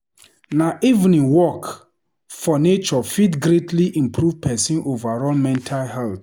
Na evening walk for nature fit greatly improve pesin overall mental health.